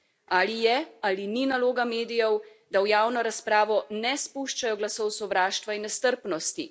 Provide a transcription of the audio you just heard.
Ali je ali ni naloga medijev, da v javno razpravo ne spuščajo glasov sovraštva in nestrpnosti?